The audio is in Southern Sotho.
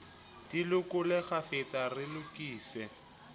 di lekole kgafetsa re lokise